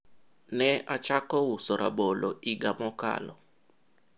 nilianza kuuza ndizi mwaka uliopita